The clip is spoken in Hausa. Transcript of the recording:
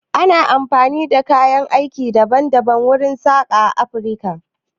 Ana amfani da kayan aiki daban daban wurin sassaƙa a Afirka.